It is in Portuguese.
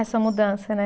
Essa mudança, né?